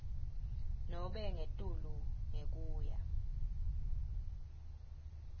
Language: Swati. nobe ngetulu ngekuya